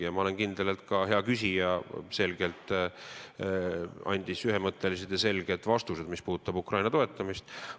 Ja ma olen kindel, et ka hea küsija andis Ukraina toetamise kohta selgelt ühemõttelised vastused.